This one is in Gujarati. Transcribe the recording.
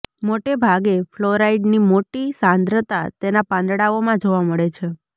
મોટેભાગે ફલોરાઇડની મોટી સાંદ્રતા તેના પાંદડાઓમાં જોવા મળે છે